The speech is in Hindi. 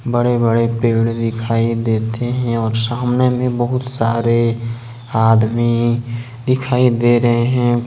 बड़े बड़े पेड़ दिखाई देते हैं और सामने में बहुत सारे आदमी दिखाई दे रहे हैं।